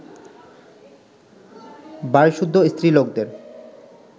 বাড়ীশুদ্ধ স্ত্রীলোকদের